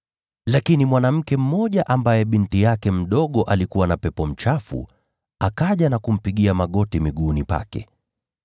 Mara mwanamke mmoja, ambaye binti yake mdogo alikuwa na pepo mchafu, akaja na kumpigia magoti miguuni pake.